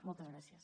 moltes gràcies